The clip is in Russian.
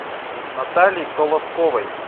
наталье колосковой